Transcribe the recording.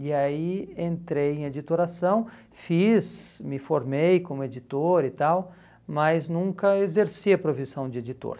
E aí entrei em editoração, fiz, me formei como editor e tal, mas nunca exerci a profissão de editor.